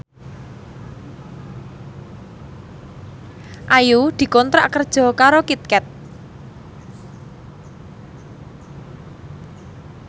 Ayu dikontrak kerja karo Kit Kat